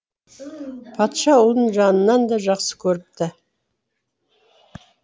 патша ұлын жанынан да жақсы көріпті